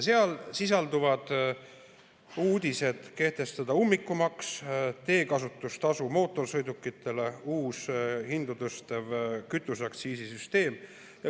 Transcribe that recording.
Selles sisaldub plaan kehtestada mootorsõidukite omanikele ummikumaks ja teekasutustasu, samuti on kavas luua uus, hinda tõstev kütuseaktsiisi süsteem.